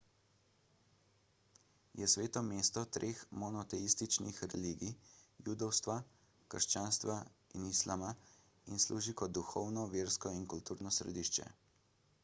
je sveto mesto treh monoteističnih religij – judovstva krščanstva in islama in služi kot duhovno versko in kulturno središče